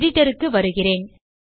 editorக்கு வருகிறேன்